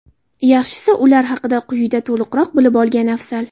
Yaxshisi, ular haqida quyida to‘liqroq bilib olgan afzal.